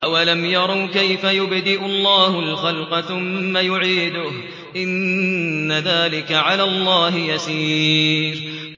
أَوَلَمْ يَرَوْا كَيْفَ يُبْدِئُ اللَّهُ الْخَلْقَ ثُمَّ يُعِيدُهُ ۚ إِنَّ ذَٰلِكَ عَلَى اللَّهِ يَسِيرٌ